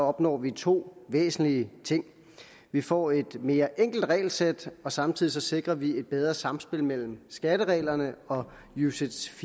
opnår vi to væsentlige ting vi får et mere enkelt regelsæt og samtidig sikrer vi et bedre samspil mellem skattereglerne og ucits